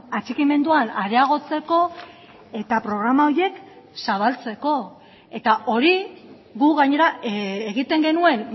atxikimenduan areagotzeko eta programa horiek zabaltzeko eta hori gu gainera egiten genuen